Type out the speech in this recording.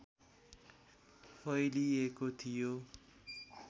फैलिएको थियो